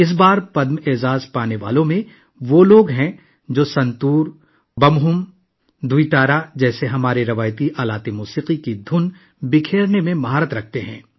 اس بار پدم ایوارڈ حاصل کرنے والوں میں وہ لوگ شامل ہیں جو ہماری موسیقی کے روایتی آلات جیسے سنتور، بمہم، دوی تارا کی دھن میں مہارت رکھتے ہیں